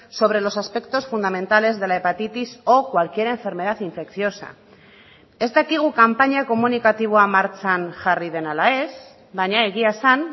sobre los aspectos fundamentales de la hepatitis o cualquier enfermedad infecciosa ez dakigu kanpaina komunikatiboa martxan jarri den ala ez baina egia esan